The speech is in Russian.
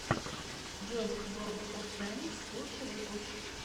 ежик ворлд оф тэнкс лучший выпуск